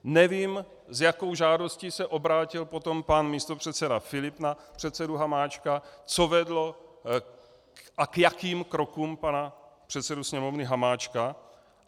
Nevím, s jakou žádostí se obrátil potom pan místopředseda Filip na předsedu Hamáčka, co vedlo a k jakým krokům pana předsedu Sněmovny Hamáčka.